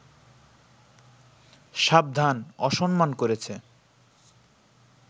সাবধান, অসম্মান করেছে